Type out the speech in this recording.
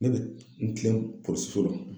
Ne be n kilen polisiso la.